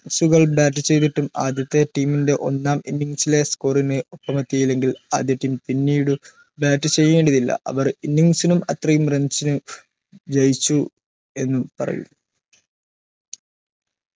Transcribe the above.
സ്സുകൾ bat ചെയ്തിട്ടും ആദ്യത്തെ team ൻറെ ഒന്നാം innings ലെ score ന് ഒപ്പം എത്തിയില്ലെങ്കിൽ ആദ്യ team പിന്നീട് bat ചെയ്യേണ്ടതില്ല അവർ innings നും അത്രയും runs ന് ജയിച്ചു എന്ന് പറയും